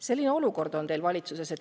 Selline olukord on teil valitsuses.